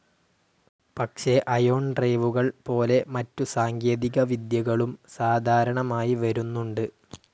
പക്ഷെ അയോൺ ഡ്രൈവുകൾ പോലെ മറ്റു സാങ്കേതികവിദ്യകളും സാധാരണമായി വരുന്നുണ്ട്.